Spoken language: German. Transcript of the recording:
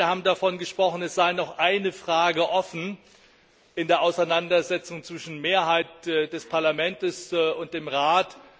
Beide haben davon gesprochen, es sei noch eine Frage offen in der Auseinandersetzung zwischen Mehrheit des Parlaments und dem Rat.